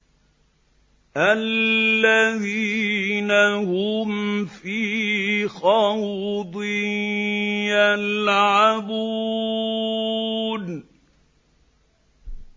الَّذِينَ هُمْ فِي خَوْضٍ يَلْعَبُونَ